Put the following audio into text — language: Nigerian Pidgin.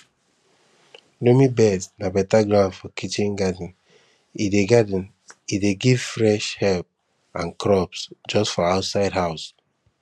loamy beds na beta ground for kitchen garden e dey garden e dey give fresh herbs and crops just for outside house